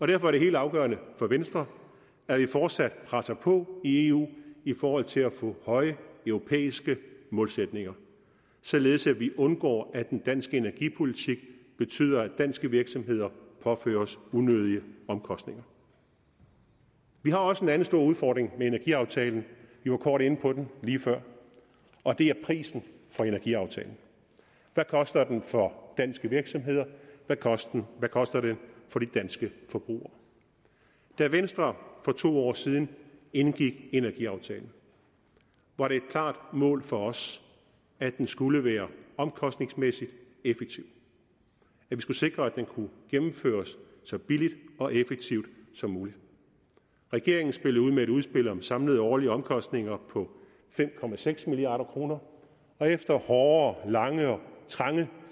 derfor er det helt afgørende for venstre at vi fortsat presser på i eu i forhold til at få høje europæiske målsætninger således at vi undgår at den danske energipolitik betyder at danske virksomheder påføres unødige omkostninger vi har også en anden stor udfordring med energiaftalen vi var kort inde på den lige før og det er prisen for energiaftalen hvad koster den for de danske virksomheder hvad koster den for de danske forbrugere da venstre for to år siden indgik energiaftalen var det et klart mål for os at den skulle være omkostningsmæssig effektiv at vi skulle sikre at den kunne gennemføres så billigt og effektivt som muligt regeringen spillede ud med et udspil om samlede årlige omkostninger på fem milliard kroner og efter hårde lange og trange